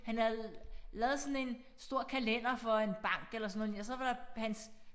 Han havde lavet sådan en stor kalender for en bank eller sådan noget så var der et hans